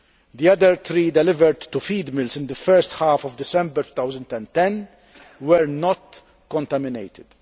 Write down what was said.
The other three delivered to feed mills in the first half of December 2010 were not contaminated.